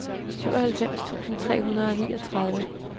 syvoghalvfems tusind otte hundrede og niogtredive